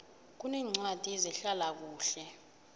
kuneencwadi zehlala kuhle